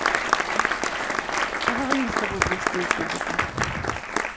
поговорим с тобой при встрече об этом